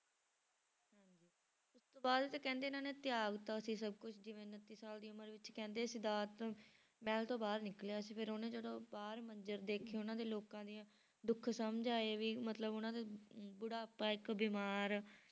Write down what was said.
ਤੇ ਉਸ ਤੋਂ ਬਾਅਦ ਤਾਂ ਕਹਿੰਦੇ ਇਹਨਾਂ ਨੇ ਤਿਆਗ ਦਿੱਤਾ ਸੀ ਸਭ ਕੁਛ ਜਿਵੇਂ ਉਣੱਤੀ ਸਾਲ ਦੀ ਉਮਰ ਵਿੱਚ ਕਹਿੰਦੇ ਸਿਧਾਰਥ ਮਹਿਲ ਤੋਂ ਬਾਹਰ ਨਿਕਲਿਆ ਸੀ ਫਿਰ ਉਹਨੇ ਜਦੋਂ ਬਾਹਰ ਮੰਜਰ ਦੇਖੇ ਉਹਨਾਂ ਦੇ ਲੋਕਾਂ ਦੀਆਂ ਦੁੱਖ ਸਮਝ ਆਏ ਵੀ ਮਤਲਬ ਉਹਨਾਂ ਦੇ ਅਮ ਬੁਢਾਪਾ ਇੱਕ ਬਿਮਾਰ